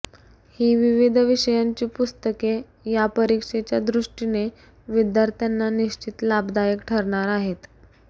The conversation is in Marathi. ही विविध विषयांची पुस्तके या परीक्षेच्या दृष्टीने विद्यार्थ्यांना निश्चित लाभदायक ठरणार आहेत